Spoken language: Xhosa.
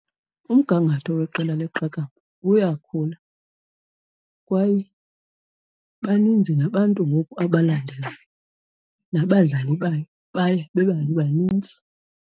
Umgangatho weqela leqakamba uyakhula kwaye baninzi nabantu ngoku abalandelayo, nabadlali bayo baye beba banintsi.